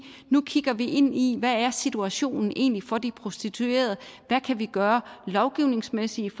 nu kigger vi ind i hvad situationen egentlig er for de prostituerede hvad kan vi gøre lovgivningsmæssigt